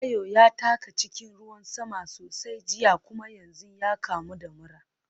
Tayo ya taka cikin ruwan sama sosai jiya kuma yanzu ya kamu da mura.